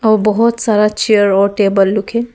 बहुत सारा चेयर और टेबल लुक है।